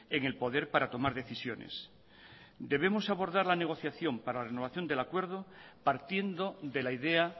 en el poder para tomar decisiones debemos abordar la negociación para la renovación del acuerdo partiendo de la idea